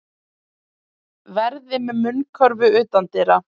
Verði með munnkörfu utandyra